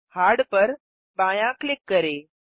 hard पर बायाँ click करें